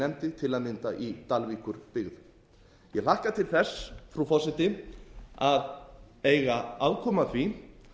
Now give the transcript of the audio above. nefndi til að mynda í dalvíkurbyggð ég hlakka til þess frú forseti að eiga aðkomu að því